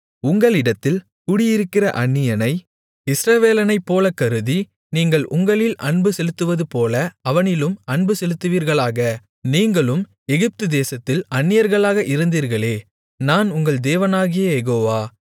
உங்களிடத்தில் குடியிருக்கிற அந்நியனை இஸ்ரவேலனைப்போல கருதி நீங்கள் உங்களில் அன்புசெலுத்துவதுபோல அவனிலும் அன்புசெலுத்துவீர்களாக நீங்களும் எகிப்துதேசத்தில் அந்நியர்களாக இருந்தீர்களே நான் உங்கள் தேவனாகிய யெகோவா